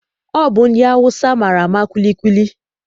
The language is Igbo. Ọ bụ ndị Awụsa maara ama kwilikwili.